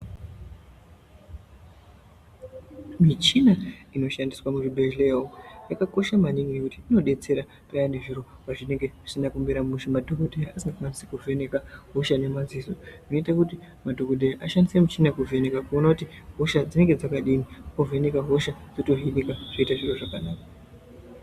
Michina inoshandiswa muzvibhedhlera umo yakakosha maningi ngekuti inodetsera payani zviro pazvinenge zvisina kumira mushe, madhokodheya asakwanisa kuvheneka hosha nemadziso zvinoita kuti madhokodheya ashandise michina kuvheneka kuone kuti hosha dzinenge dzakadini, ovheneka hosha yotohinika zvoite zvakanaka